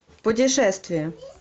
путешествия